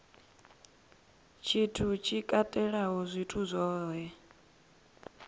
tshithu tshi katelaho zwithu zwohe